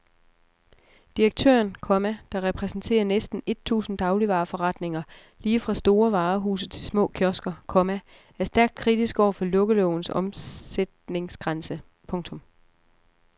Direktøren, komma der repræsenterer næsten et tusind dagligvareforretninger lige fra store varehuse til små kiosker, komma er stærkt kritisk over for lukkelovens omsætningsgrænse. punktum